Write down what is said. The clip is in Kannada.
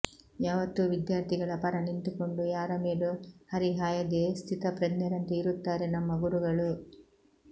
ಯಾವತ್ತೂ ವಿದ್ಯಾರ್ಥಿಗಳ ಪರ ನಿಂತುಕೊಂಡು ಯಾರ ಮೇಲೂ ಹರಿಹಾಯದೇ ಸ್ಥಿತಪ್ರಜ್ಞರಂತೆ ಇರುತ್ತಾರೆ ನಮ್ಮ ಗುರುಗಳು